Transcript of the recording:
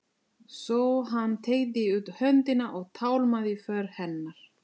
Svo hann teygði út höndina og tálmaði för hennar.